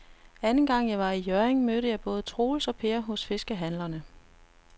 Anden gang jeg var i Hjørring, mødte jeg både Troels og Per hos fiskehandlerne.